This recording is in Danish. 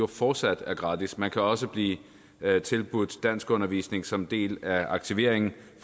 fortsat er gratis man kan også blive tilbudt danskundervisning som en del af aktiveringen